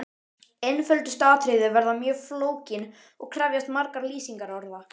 Einföldustu atriði verða mjög flókin og krefjast margra lýsingarorða.